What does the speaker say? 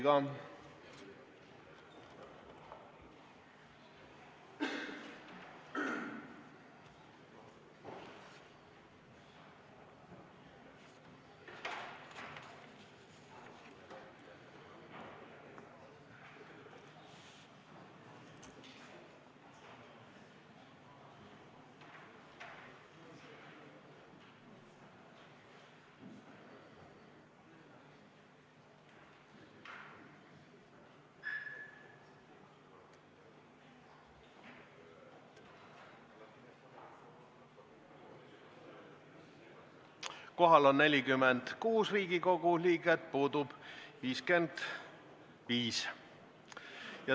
Kohaloleku kontroll Kohal on 46 Riigikogu liiget, puudub 55.